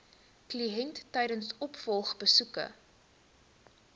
kliënt tydens opvolgbesoeke